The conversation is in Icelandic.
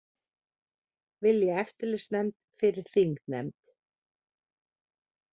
Vilja eftirlitsnefnd fyrir þingnefnd